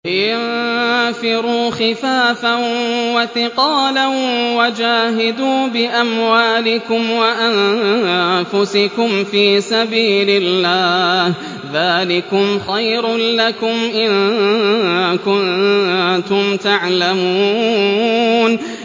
انفِرُوا خِفَافًا وَثِقَالًا وَجَاهِدُوا بِأَمْوَالِكُمْ وَأَنفُسِكُمْ فِي سَبِيلِ اللَّهِ ۚ ذَٰلِكُمْ خَيْرٌ لَّكُمْ إِن كُنتُمْ تَعْلَمُونَ